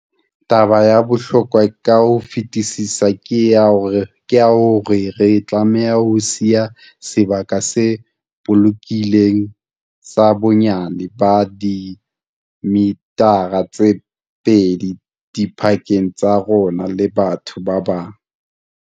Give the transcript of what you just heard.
Taba ya bohlokwa ka ho fetisisa ke ya hore re tlameha ho siya sebaka se bolokehileng sa bonyane ba dimithara tse pedi dipakeng tsa rona le batho ba bang.